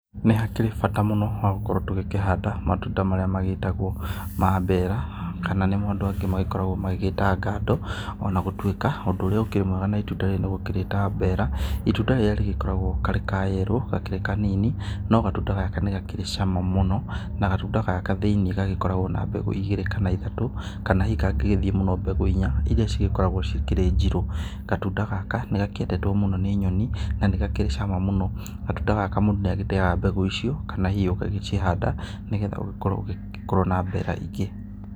Nĩ hakĩrĩ bata mũno wa gũkorwo tũkĩhanda matunda marĩa magĩtagwo ma mbeera kana nĩmo andũ angĩ magĩkoragwo magĩta ngandũ ona gũtwĩka ũndũ ũrĩa ũkĩrĩ mwega na itunda rĩrĩ nĩ gũkĩrĩita mbeera, itunda rĩrĩa rĩgĩkoragwo karĩ ka yellow gakĩrĩ kanini no gatunda gaka nĩgakĩrĩ cama mũno na gatunda gaka thĩinĩ gagĩkoragwo na mbegũ igĩrĩ kana ithatũ kana hihi kangĩgĩthie mbegũ inya iria cigĩkoragwo cikĩrĩ njirũ. Gatunda gaka nĩgakĩendetwo mũno nĩ nyoni na nĩgakĩrĩ cama mũno. Gatunda gaka mũndũ nĩagĩteaga mbegũ icio kana hihi ũgagĩcihanda nĩgetha ugĩkorwo na mbera mangĩ.